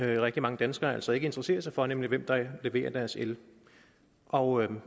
rigtig mange danskere altså ikke interesserer sig for nemlig hvem der leverer deres el og